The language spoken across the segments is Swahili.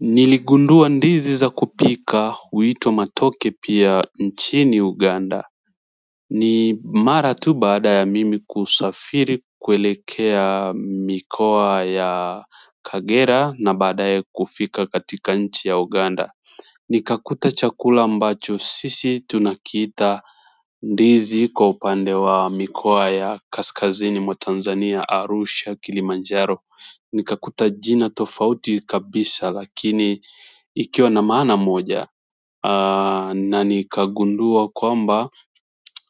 Niligundua ndizi za kupika huitwa matoke pia nchini uganda ni mara tu baada ya mimi kusafiri kuelekea mikoa ya kagera na baadae kufika katika nchi ya uganda. Nikakuta chakula ambacho sisi tunakiita ndizi kwa upande wa mikoa ya kaskazini mwa Tanzania Arusha Kilimanjaro nikakuta jina tofauti kabisa lakini ikiwa na maana moja na nikagundua kwamba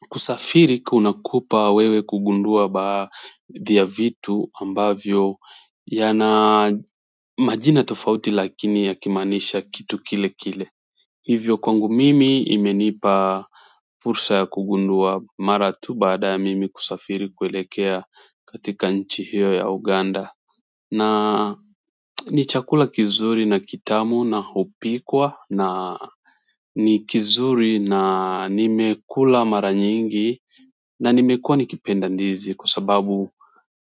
kusafiri kunakupa wewe kugundua baadhi ya vitu ambavyo yana majina tofauti lakini yakimaanisha kitu kile kile hivyo kwangu mimi imenipa fursa ya kugundua mara tu baada ya mimi kusafiri kuelekea katika nchi hiyo ya Uganda na ni chakula kizuri na kitamu na hupikwa na ni kizuri na nimekuka mara nyingi na nimekua nikipenda ndizi kwa sababu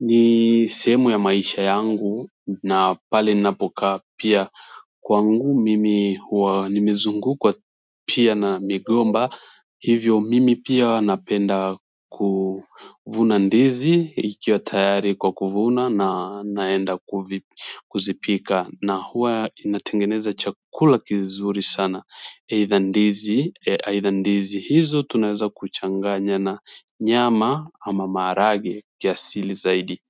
ni sehemu ya maisha yangu na pale ninapokaa pia kwangu mimi huwa nimezungukwa pia na migomba hivyo mimi pia napenda kuvuna ndizi ikiwa tayari kwa kuvuna na naenda kuzipika na huwa inatengeneza chakula kizuri sana aidha ndizi, aidha ndizi hizo tunaweza kuchanganya na nyama ama maharagwe kiasili zaidi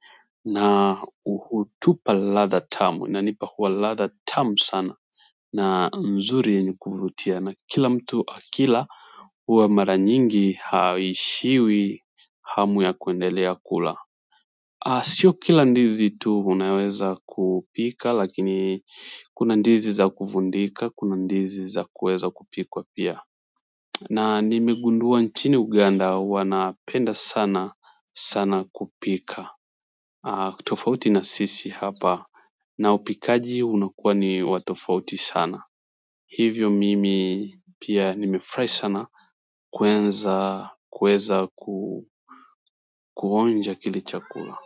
na uhutupa ladha tamu, inanipa huwa ladha tamu sana na mzuri yenye kuvutia na kila mtu akila huwa mara nyingi haishiwi hamu ya kuendelea kula sio kila ndizi tu unaweza kupika lakini kuna ndizi za kufundika, kuna ndizi za kuweza kupikwa pia. Na nimegundua nchini Uganda wanapenda sana sana kupika. Tofauti na sisi hapa na upikaji unakuwa ni wa tofauti sana. Hivyo mimi pia nimefurahi sana kuweza kuonja kile chakula.